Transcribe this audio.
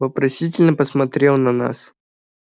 вопросительно посмотрел на нас